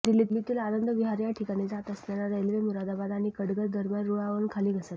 दिल्लीतील आनंद विहार या ठिकाणी जात असताना रेल्वे मुरादाबाद आणि कटघर दरम्यान रुळावरुन खाली घसरली